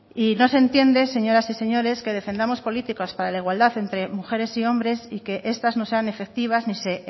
y no se entiende señoras y señores que defendamos políticas para igualdad entre mujeres y hombres y que estas no sean efectivas y se